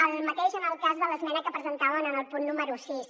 el mateix en el cas de l’esmena que presentaven en el punt número sis